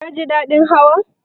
Ka ji daɗin Hawan?